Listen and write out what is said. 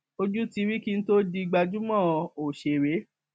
ojú ti rí kí n tóò di gbajúmọ ọṣẹrẹ